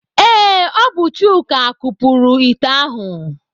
Ee, ọ bụ Chuka kupuru ite ahụ.